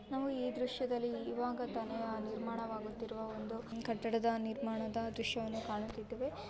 ನಾವು ಈ ದೃಶ್ಯ ದಲ್ಲಿ ಈವಾಗ ತಾನೇ ನಿರ್ಮಾಣವಾಗುತ್ತಿರುವ ಕಟ್ಟಡದ ನಿರ್ಮಾಣವಗದ ದೃಶ್ಯವನ್ನು ಕಾಣುತ್ತಿದ್ದೇವೆ.